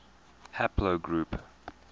haplogroup